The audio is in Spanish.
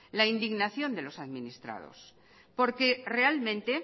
la indignación de los administrados porque realmente